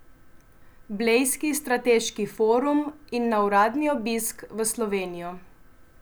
Blejski strateški forum in na uradni obisk v Slovenijo.